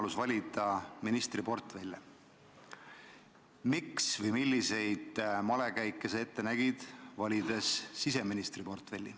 Miks sa valisid siseministri portfelli või milliseid malekäike sa seda tehes ette nägid?